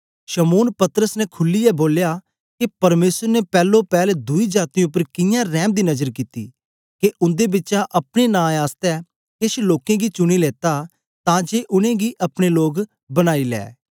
शमौन पतरस ने खुलीयै बोलया के परमेसर ने पैलो पैल दुई जातीयें उपर कियां रैम दी नजर दिती के उन्दे बिचा अपने नां आसतै केछ लोकें गी चुनी लेता तां जे उनेंगी अपने लोग बनाई लै